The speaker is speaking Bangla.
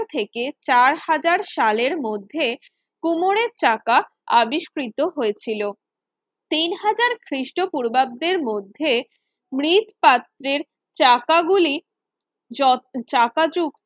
থেকে চার হাজার সালের মধ্যে কুমোরের চাকা আবিষ্কৃত হয়েছিল তিন হাজার খ্রিস্টপূর্বাব্দের মধ্যে মৃৎপাত্রের চাকা গুলি য চাকা যুক্ত